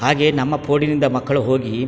ಹಾಗೆ ನಮ್ಮ ಪೋಡಿನಿಂದ ಮಕ್ಕಳು ಹೋಗಿ --